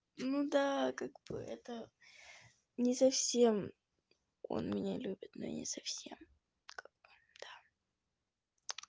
ну да как бы это не совсем он меня любит но не совсем как бы да